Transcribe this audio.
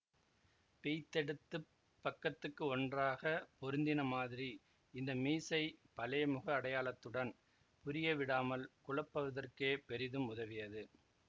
பிய்த்தெடுத்துப் பக்கத்துக்கு ஒன்றாக பொருத்தின மாதிரி இந்த மீசை பழைய முக அடையாளத்துடன் புரிய விடாமல் குழப்புவதற்கே பெரிதும் உதவியது